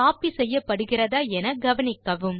copy செய்யப்படுகிறதா என கவனிக்கவும்